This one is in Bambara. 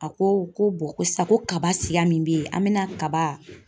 A ko ko ko sa ko kaba siya min bɛ yen, an bɛna kaba.